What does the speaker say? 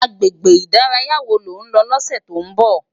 Agbégbé idàráyá wó ló n lò lòsè tó n bò?